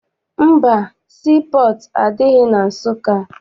Mba, sii pọọtụ adịghị na Nsụka.